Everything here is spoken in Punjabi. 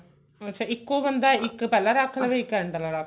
ਅੱਛਾ ਇੱਕੋ ਬੰਦਾ ਇੱਕ ਪਹਿਲਾਂ ਰੱਖ ਲਵੇ ਇੱਕ end